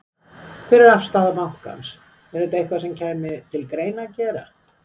Hver er afstaða bankans, er þetta eitthvað sem kæmi til greina að gera?